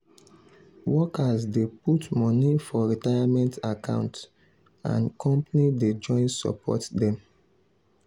workers dey put money for retirement account and company dey join support dem.